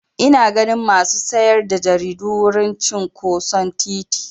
Ina ganin masu sayar da jaridu a wurin cinƙoson titi.